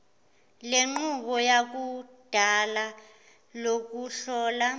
lenqubo yakudala lokuhlola